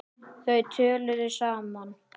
Þau töluðu saman.